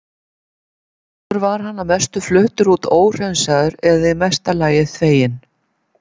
Áður var hann að mestu fluttur út óhreinsaður eða í mesta lagi þveginn.